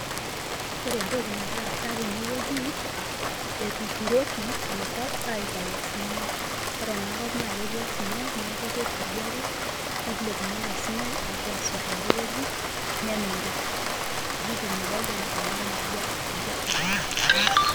Ore entoki nagira aasa tene wueji ,etuturoki enkop aitayu osinyai .Ore ena kop naa ketii osinyai niaku keturi ake nilepunyieki osinyai apuo asot ten`de wueji nemiri ,netum ilopeny ena murrua impisai.